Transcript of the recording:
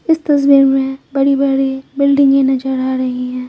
इस तस्वीर में बड़ी बड़ी बिल्डिंगॆ नजर आ रही है।